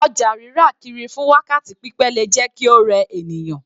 Ọjà rírà kiri fún wákàtí pípẹ́ le jẹ́ kí ó rẹ ènìyàn.